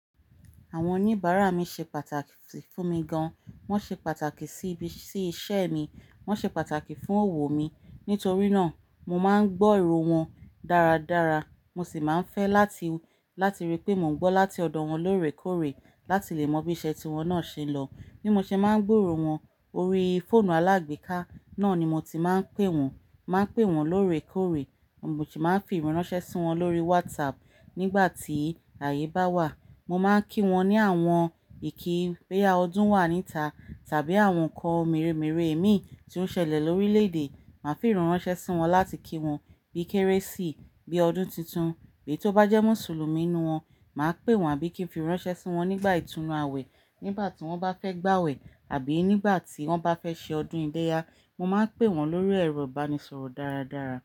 Àwọn oníbàárà mi ṣe pàtàkì fún mi gan, wọ́n ṣe pàtàkì sí ibi, sí iṣẹ́ mi, wọ́n ṣe pàtàkì fún òwò mi. Nítorí náà, mo máa ń gbọ́ ìró wọn dáradára, mo sì máa ń fẹ́ láti, láti rí pé mò ń gbọ́ láti ọ̀dọ̀ wọn lóòrèkóòrè láti lè mọ bí iṣẹ́ tí wọ́n náà ṣe ń lọ. Bí mo ṣe máa ń gbúròó wọn orí fóònù alágbèéká, náà ni mo ti máa ń pé wọ́n. Màá n pè wọ́n lóòrèkóòrè, mo sì máa ń fi ìrànṣẹ́ sí wọn lórí WhatsApp nígbà tí ààyè bá wà. Mo máa ń kí wọn ní àwọn ìkí bóyá ọdún wà níta tàbí àwọn ǹkan mèremère èmi tí ó ń ṣẹlẹ̀ lórílẹ̀ èdè. Màá fi ìrànṣẹ́ sí wọn láti kí wọn bí i Kérésì, bí i ọdún titun. Bí èyí t'ó bá jẹ́ Mùsùlùmí n'nù wọn, màá pè wọ́n àbí kín fi iránṣẹ́ sí wọn nígbà ìtúnu àwẹ̀ nígbà tí wọ́n bá fẹ́ gbàwẹ̀ àbí nígbà tí wọ́n bá fẹ́ ṣe ọdún ilẹ́yá. Mo máa ń pè wọ́n lórí ẹ̀rọ ìbánisọ̀rọ̀ dáradára.